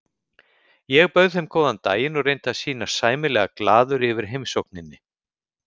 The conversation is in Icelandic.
Ég bauð þeim góðan daginn og reyndi að sýnast sæmilega glaður yfir heimsókninni.